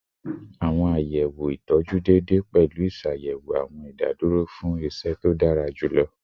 Awọn sọwedowo itọju deede pẹlu iṣayẹwo awọn idaduro fun iṣẹ to dara julọ